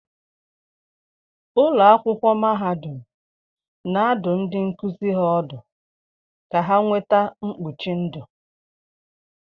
Ụlọ akwụkwọ mahadum na-adụ ndị nkuzi ha ọdụ ka ha nweta mkpuchi ndụ